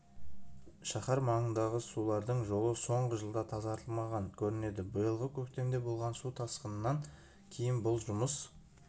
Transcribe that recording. шаһар маңындағы сулардың жолы соңғы жылда тазартылмаған көрінеді биылғы көктемде болған су тасқынынан кейін бұл жұмыс